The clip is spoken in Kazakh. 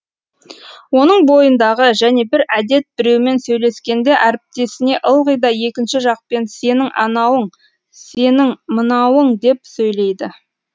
оның бойындағы және бір әдет біреумен сөйлескенде әріптесіне ылғи да екінші жақпен сенің анауың сенін мынауың деп сөйлейді